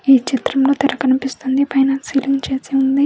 ఈ చిత్రంలో తెర కనిపిస్తుంది. పైన సీలింగ్ చేసి ఉంది.